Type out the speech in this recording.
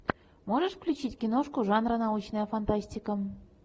можешь включить киношку жанра научная фантастика